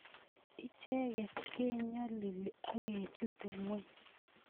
Icheget kenyolili akechute ngweny